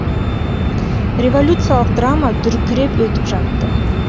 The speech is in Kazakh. революциялық драма дүркіреп өтіп жатты